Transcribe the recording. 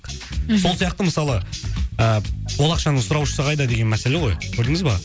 мхм сол сияқты мысалы ы ол ақшаның сұраушысы қайда деген мәселе ғой көрдіңіз ба